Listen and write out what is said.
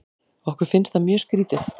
Okkur finnst það mjög skrítið.